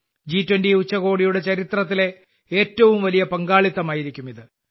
ജി20 ഉച്ചകോടിയുടെ ചരിത്രത്തിലെ ഏറ്റവും വലിയ പങ്കാളിത്തമായിരിക്കും ഇത്